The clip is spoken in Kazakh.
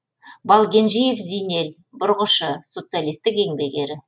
балгенжиев зинел бұрғышы социалистік еңбек ері